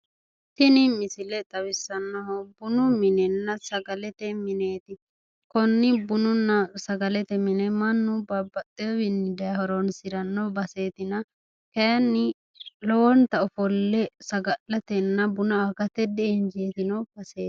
Tini misile xawissannohu bunu minenna sagalete mineeti konni bununna sagalete mine mannu babbaxxewowiini daye horoonsiranno baseetina kayinni lowonta ofolle saga'latenna buna agate di'injiitino baseeti